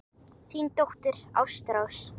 Þín dóttir, Ástrós.